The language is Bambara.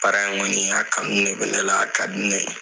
Baara in kɔni a kanu de bɛ ne la a ka di ne ye